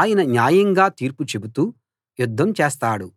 ఆయన న్యాయంగా తీర్పు చెబుతూ యుద్ధం చేస్తాడు